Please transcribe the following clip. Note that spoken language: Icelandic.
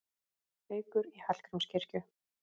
Haukur í Hallgrímskirkju